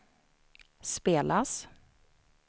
spelas